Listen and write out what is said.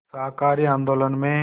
शाकाहारी आंदोलन में